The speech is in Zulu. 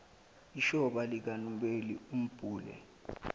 ishoba likanobela ambhule